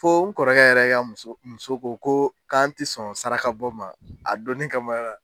Fo n kɔrɔkɛ yɛrɛ ka muso muso ko ko k'an tɛ sɔn sarakabɔ ma a donin kama